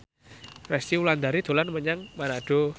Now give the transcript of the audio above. Resty Wulandari dolan menyang Manado